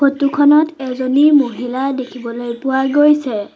Photo খনত এজনী মহিলা দেখিবলৈ পোৱা গৈছে।